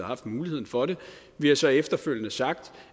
haft muligheden for det vi har så efterfølgende sagt